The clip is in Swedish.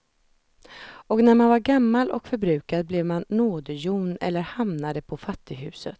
Och när man var gammal och förbrukad blev man nådehjon eller hamnade på fattighuset.